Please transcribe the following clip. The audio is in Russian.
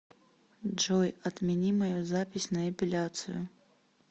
джой отмени мою запись на эпиляцию